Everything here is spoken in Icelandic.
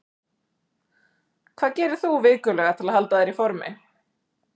Hvað gerir þú vikulega til að halda þér í formi?